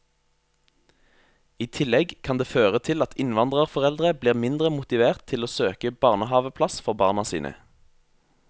I tillegg kan det føre til at innvandrerforeldre blir mindre motivert til å søke barnehaveplass for barna sine.